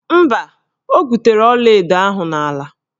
Mba, o gwutere ọlaedo ahụ n'ala.